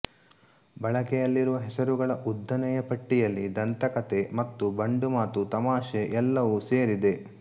ಬಳಕೆಯಲ್ಲಿರುವ ಹೆಸರುಗಳ ಉದ್ದನೆಯ ಪಟ್ಟಿಯಲ್ಲಿ ದಂತಕಥೆ ಮತ ಬಂಡುಮಾತು ತಮಾಷೆ ಎಲ್ಲವೂ ಸೇರಿದೆ